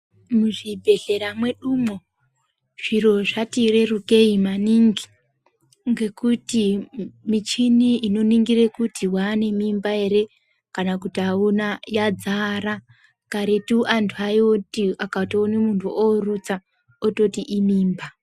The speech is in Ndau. Muzvibhedhlera medumwo zviro zvati rerukei maningi ngekuti michini inoningira kuti waane mimba ere kana kuti auna yadzara karetu anthu aiti akatoona munthu oorutsa ototi imimba.